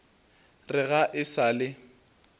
re ga e sa le